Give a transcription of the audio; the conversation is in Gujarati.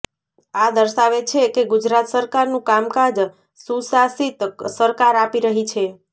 આ દર્શાવે છે કે ગુજરાત સરકારનું કામકાજ સુશાસીત સરકાર આપી રહી છે